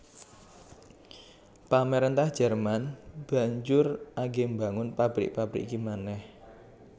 Pamaréntah Jerman banjur agé mbangun pabrik pabrik iki manèh